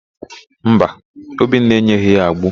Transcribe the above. Mba, Obinna enyeghị ya agbo.